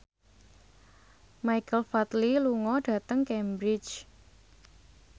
Michael Flatley lunga dhateng Cambridge